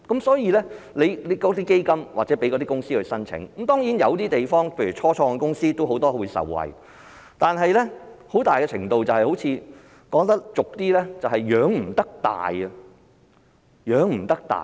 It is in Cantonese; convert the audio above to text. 所以，成立基金讓公司申請，當然，有些地方例如很多初創公司也能受惠，但很大程度是，說得俗一點便是"養不大"。